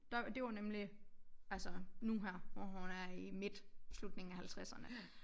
Der det var nemlig altså nu her hvor hun er i midt slutningen af halvtredserne